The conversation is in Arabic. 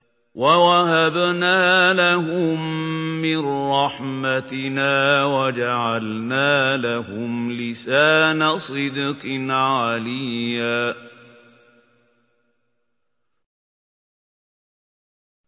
وَوَهَبْنَا لَهُم مِّن رَّحْمَتِنَا وَجَعَلْنَا لَهُمْ لِسَانَ صِدْقٍ عَلِيًّا